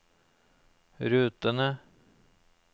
rutene